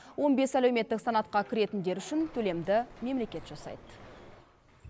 он бес әлеуметтік санатқа кіретіндер үшін төлемді мемлекет жасайды